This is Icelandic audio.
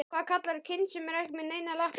Hvað kallarðu kind sem er ekki með neinar lappir?